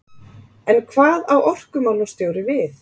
En hvað á orkumálastjóri við?